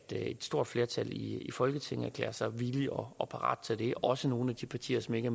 stort flertal i folketinget erklærer sig villige og parate til det også nogle af de partier som ikke